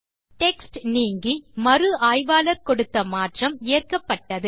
text நீங்கி மறு ஆய்வாளர் கொடுத்த மாற்றம் ஏற்கப்பட்டது